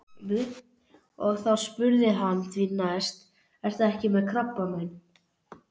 Og þá spurði hann því næst: Ertu ekki með krabbamein?